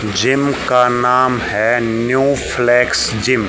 Gym का नाम है न्यू फ्लेक्स जिम ।